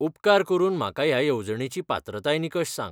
उपकार करून म्हाका ह्या येवजणेची पात्रताय निकश सांग.